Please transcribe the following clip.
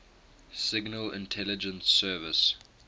signal intelligence service